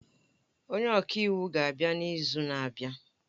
Onye ọka iwu ga-abịa n'izu na-abịa